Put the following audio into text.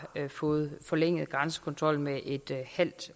fået forlænget grænsekontrollen med en halv